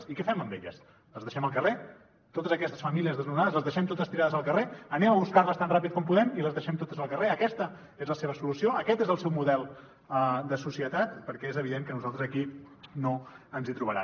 i què fem amb elles les deixem al carrer totes aquestes famílies desnonades les deixem totes tirades al carrer anem a buscar les tan ràpid com puguem i les deixem totes al carrer aquesta és la seva solució aquest és el seu model de societat perquè és evident que a nosaltres aquí no ens hi trobaran